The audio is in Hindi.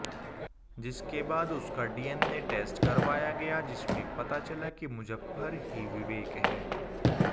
जिसके बाद उसका डीएनए टेस्ट करवाया गया जिसमें पता चला कि मुजफ्फर ही विवेक है